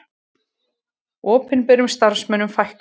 Opinberum starfsmönnum fækkar